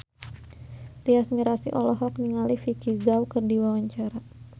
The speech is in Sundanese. Tyas Mirasih olohok ningali Vicki Zao keur diwawancara